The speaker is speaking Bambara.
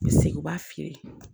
U bɛ segin u b'a feere